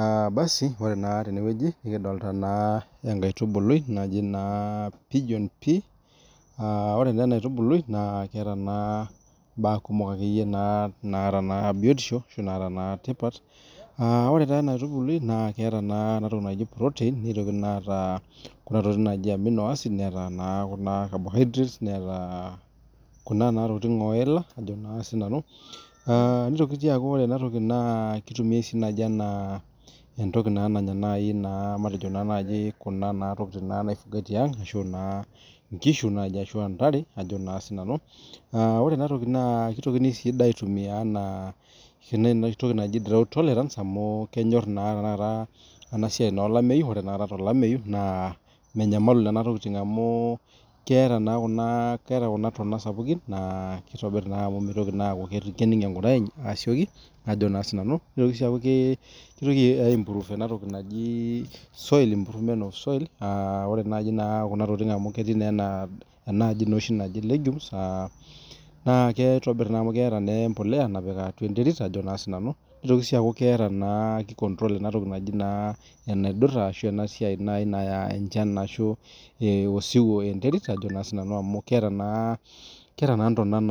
Aa basi[ore naa tenewueji nikidolita enkaitubului naaji aa pijion tree ore naa enkaitubului neet mbaa kumok naata biotisho arashu naata naa tipat ore naa ena aitubului neetaa kunaa tokitin naaji proteins Neeta Kuna tokitin naaji aminal acida Neeta carbohydrates Neeta Kuna tokitin oila nitoki aaku ore ena toki[cs[kitumiai enaa ntoki naanya kunatokitin naifugai tiang nkishu ashu ntare ore sii ena toki kitokini aitumia enaa ntoki naaji tolerance amu kenyor naa enasiai olamei naa menyamalu Nena tokitin amu keeta ntonat sapukin neeku mitoki anig enkire asikoki nitoki sii aku keas enatoki naaji improvement of soli ore naaji amu ketii enaaji naaji legumes naa kitobir amu keeta embolea naapiki atua enterit nitoki aaku kicontrol ena toki naaji enaidura enasiai Naya osiwuo arashu enkare enterit amu keeta ntonat